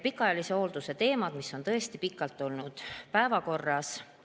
Pikaajalise hoolduse teemad on tõesti pikalt olnud päevakorras.